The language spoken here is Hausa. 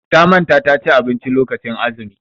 Ta manta ta ci abinci lokacin azumi.